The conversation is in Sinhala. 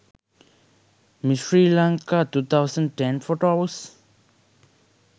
miss sri lanka 2010 photos